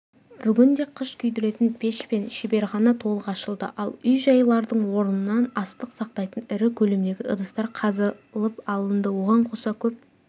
бүгінде қыш күйдіретін пеш пен шеберхана толық ашылды ал үй-жайлардың орнынан астық сақтайтын ірі көлемдегі ыдыстар қазылып алынды оған қоса көп